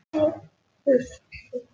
Er það ekki þannig?